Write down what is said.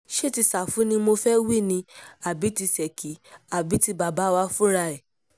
ṣé ti ṣáfù ni mo fẹ́ẹ́ wí ni àbí tí ṣèkì àbí tí bàbá wà fúnra ẹ̀